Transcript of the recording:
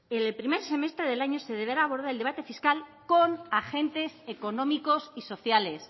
en el primer semestre del año se deberá abordar el debate fiscal con agentes económicos y sociales